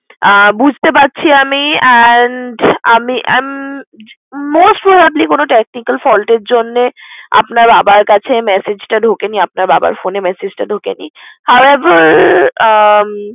আহ বুঝতে পারছি আমি and আমি উম most probably কোনো technical fault এর জন্যে আপনার বাবার কাছে message টা ঢোকেনি। আপনার বাবার phone এ message টা ঢোকেনি। উম